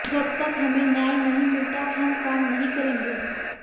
जब तक हमें न्याय नहीं मिलता हम काम नहीं करेंगे